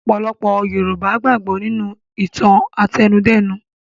Ọ̀pọ̀lọpọ̀ Yorùbá gbàgbọ́ nínú ìtàn-àtẹnudẹ́nu.